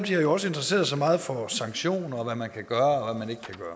har jo også interesseret sig meget for sanktioner og for hvad man kan gøre